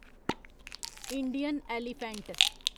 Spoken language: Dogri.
Indian elephant